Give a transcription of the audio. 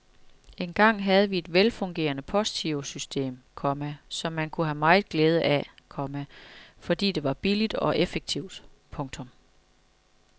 Engang havde vi et velfungerende postgirosystem, komma som man kunne have meget glæde af, komma fordi det var billigt og effektivt. punktum